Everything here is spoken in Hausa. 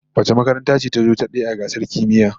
Wace makaranta ce tazo na daya a gasar kimiyya?